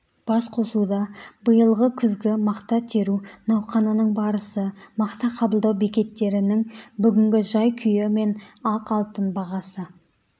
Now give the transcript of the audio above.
басқосуда биылғы күзгі мақта теру науқанының барысы мақта қабылдау бекеттерінің бүгінгі жай-күйі мен ақ алтын бағасы